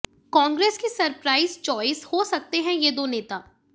कांग्रेस की surprise choice हो सकते हैं ये दो नेता